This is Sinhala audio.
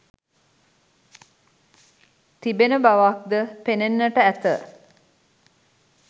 තිබෙන බවක්ද පෙනෙන්නට ඇත.